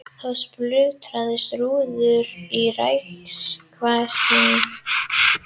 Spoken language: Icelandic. Þá splundruðust rúður í raftækjaverslun